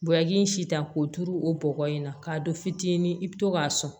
Bubaki in si ta k'o turu o bɔgɔ in na k'a don fitini i bi to k'a sɔn